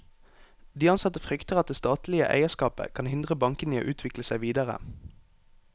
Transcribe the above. De ansatte frykter at det statlige eierskapet kan hindre bankene i å utvikle seg videre.